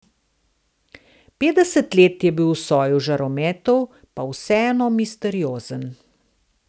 Petdeset let je bil v soju žarometov, pa vseeno misteriozen.